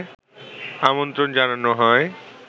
আমন্ত্রণ জানানো হয়